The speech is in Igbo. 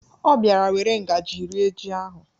Ọ bịara were ngaji rie ji ahụ.